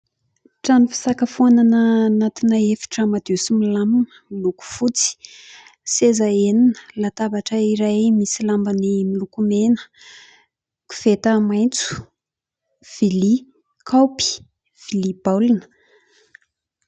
Trano fisakafoanana anatina efitra madio sy milamina miloko fotsy. Seza enina, latabatra iray misy lambany miloko mena, koveta maitso, vilia, kaopy, vilia baolina.